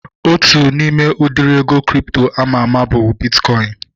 Otu n'ime udiri ego kripto ama ama bụ bitkọin